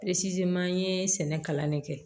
an ye sɛnɛ kalan de kɛ